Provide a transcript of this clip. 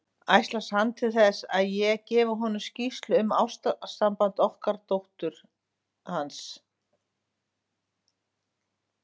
Ætlast hann til þess, að ég gefi honum skýrslu um ástarsamband okkar dóttur hans?